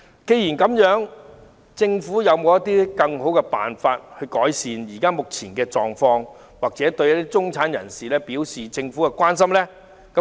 既然如此，政府會否有更好的辦法，以改善目前的狀況及向中產人士表達政府的關心？